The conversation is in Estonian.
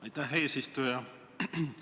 Aitäh, eesistuja!